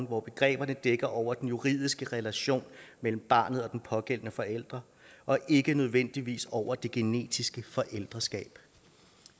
hvor begreberne dækker over den juridiske relation mellem barnet og den pågældende forælder og ikke nødvendigvis over det genetiske forældreskab